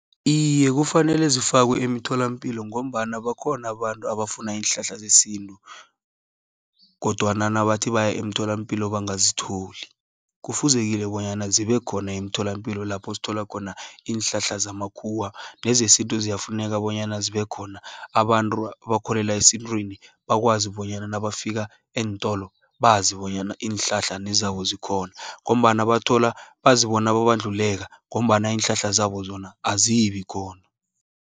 Iye kufanele zifakwe emitholampilo, ngombana bakhona abantu abafuna iinhlahla zesintu, kodwana nabathi baye eemtholampilo bangazitholi. Kufuzekile bonyana zibe khona eemtholampilo, lapho sithola khona iinhlahla zamakhuwa, nezesintu ziyafuneka, bonyana zibe khona. Abantu abakholelwa esintwini, bakwazi bonyana nabafika eentolo, bazi bonyana iinhlahla nezabo zikhona, ngombana bathola, bazibona babandluleka, ngombana iinhlahla zabo zona azibikhona.